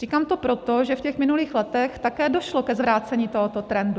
Říkám to proto, že v těch minulých letech také došlo ke zvrácení tohoto trendu.